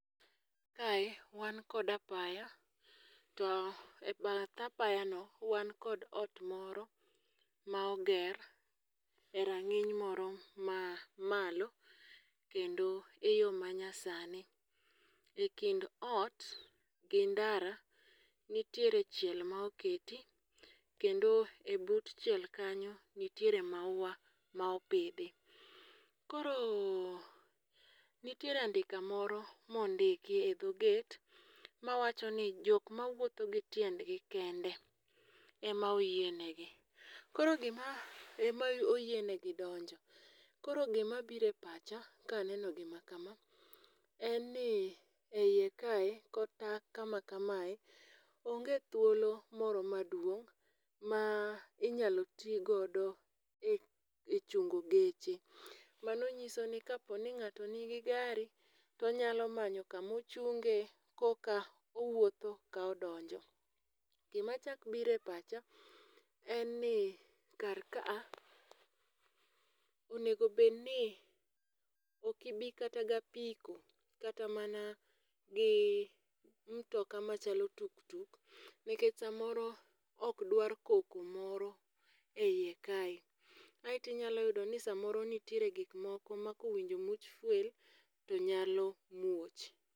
Kae, wan kod apaya. To e bath apayano wan kod ot moro ma oger e rang'iny moro ma malo, kendo eyo ma nyasani. E kind ot gi ndara nitiere chiel ma oketi kendo e but chiel kanyo nitiere maua ma opidhi. Koro, nitiere andika moro mondiki edho gate mawacho ni jok ma wuotho gi tiendgi kende ema oyienegi. Koro gima, ema oyienegi donjo. Koro gima bire pacha ka aneno gima kama en ni eyie kae, kata kama kamae onge thuolo moro maduong' ma inyalo tii godo echungo geche. Mano nyiso ni kapo ni ng'ato nigi gari, to onyalo manyo kama ochunge, koka owuotho ka odonjo. Gima chakbire pacha en ni kar ka'a, onego bed ni okibi kata gi apiko kata mana gi mtoka machalo tuk tuk. Nikech samoro okdwar koko moro eiekae. Aeto inyalo yudo, ni samoro nitiere gikmoko makowinjo much fuel to nyalo muoch.